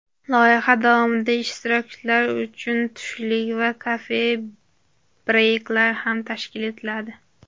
Loyiha davomida ishtirokchilar uchun tushlik va kofe-breyklar ham tashkil etiladi.